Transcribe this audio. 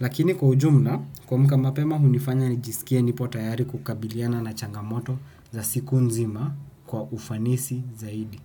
Lakini kwa ujumla, kuamka mapema hunifanya ni jisikie nipotayari kukabiliana na changamoto za siku nzima kwa ufanisi zaidi.